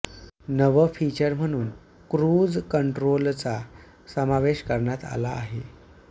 नवं फिचर म्हणून क्रूज कंट्रोलचा समावेश करण्यात आला आहे